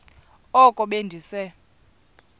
oko be ndise